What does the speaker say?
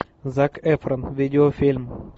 зак эфрон видеофильм